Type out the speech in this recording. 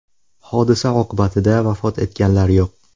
Hodisa oqibatida vafot etganlar yo‘q .